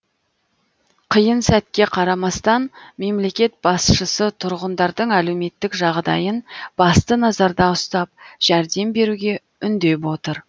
қиын сәтке қарамастан мемлекет басшысы тұрғындардың әлеуметтік жағдайын басты назарда ұстап жәрдем беруге үндеп отыр